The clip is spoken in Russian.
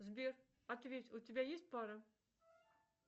сбер ответь у тебя есть пара